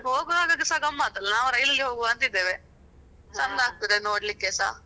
ಅಂದ್ರೆ ಹೋಗುವಾಗಸ ಗಮ್ಮತ್ ಅಲ ನಾವ್ rail ಅಲ್ಲಿ ಹೋಗುವ ಅಂತ ಇದ್ದೇವೆ. ಚಂದ ಆಗ್ತಾದೆ ನೋಡ್ಲಿಕ್ಕೆಸ.